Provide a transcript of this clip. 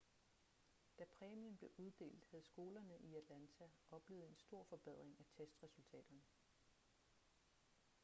da præmien blev uddelt havde skolerne i atlanta oplevet en stor forbedring af testresultaterne